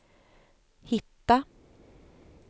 hitta